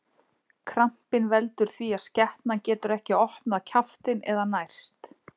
Krampinn veldur því að skepnan getur ekki opnað kjaftinn eða nærst.